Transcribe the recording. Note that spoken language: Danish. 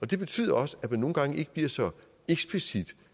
det betyder også at man nogle gange ikke bliver så eksplicit